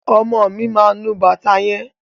Ọmọ mi máa nu bàtà yẹn.